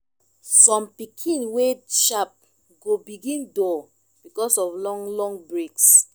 som pikin wey sharp go begin dull because of long long breaks